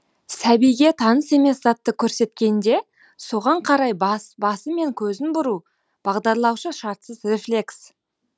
сәбиге таныс емес затты көрсеткенде соған карай басы мен көзін бұруы бағдарлаушы шартсыз рефлекс